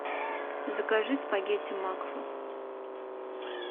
закажи спагетти макфа